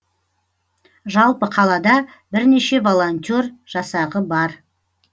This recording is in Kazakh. жалпы қалада бірнеше волонтер жасағы бар